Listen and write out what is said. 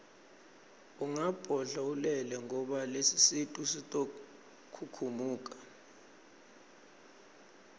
ungabodla ulele ngoba lesisu sitokhukhumuka